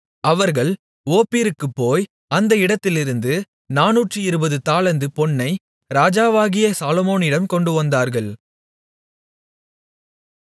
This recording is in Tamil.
அவர்கள் ஓப்பீருக்குப்போய் அந்த இடத்திலிருந்து நானூற்று இருபது தாலந்து பொன்னை ராஜாவாகிய சாலொமோனிடம் கொண்டுவந்தார்கள்